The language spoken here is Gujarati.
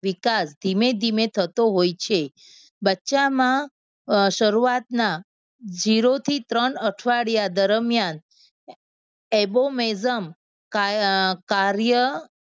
વિકાસ ધીમે ધીમે થતો હોય છે. બચ્ચામાં શરૂઆતના zero થી ત્રણ અઠવાડિયા દરમિયાન abomazam કા અમ કાર્ય